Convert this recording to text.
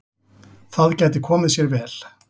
Það gæti komið sér vel.